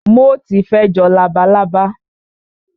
Móòtì fe jọ labalábá